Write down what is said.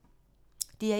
DR1